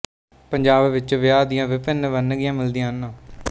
ਪੰਜਾਬ ਵਿੱਚ ਵਿਆਹ ਦੀਆਂ ਵਿਭਿੰਨ ਵੰਨਗੀਆਂ ਮਿਲਦੀਆਂ ਹਨ